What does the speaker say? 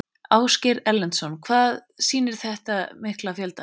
Ásgeir Erlendsson: Hvað skýrir þennan mikla fjölda?